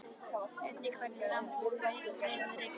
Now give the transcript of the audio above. Einnig hvernig sambúðin við Friðrik á